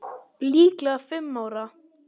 Líklega fimm ára.